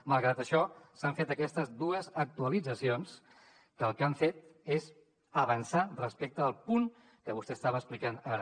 malgrat això s’han fet aquestes dues actualitzacions que el que han fet és avançar respecte al punt que vostè estava explicant ara